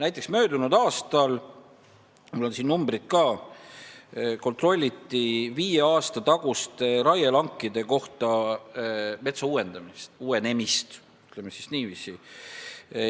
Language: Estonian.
Näiteks, möödunud aastal – mul on siin numbrid ka – kontrolliti viie aasta tagustel raielankidel metsa uuenemist, ütleme niiviisi.